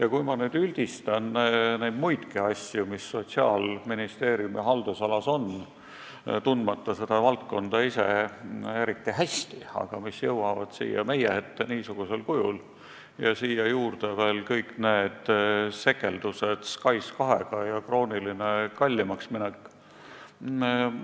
Ja kui ma nüüd üldistan – ise seda valdkonda eriti hästi tundmata – muidki asju, mis Sotsiaalministeeriumi haldusalas on, aga jõuavad siia meie ette niisugusel kujul, võttes siia juurde veel kõik sekeldused SKAIS2-ga ja kroonilise kallimaks mineku, siis